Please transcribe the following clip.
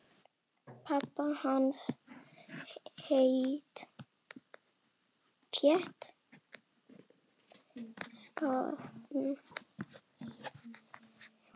Pabbi hans hét kannski Jósef.